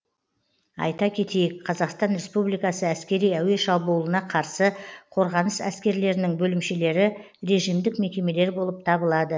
айта кетейік қазақстан республикасы әскери әуе шабуылына қарсы қорғаныс әскерлерінің бөлімшелері режимдік мекемелер болып табылады